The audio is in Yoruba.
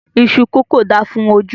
Iṣú kókò da fún ojú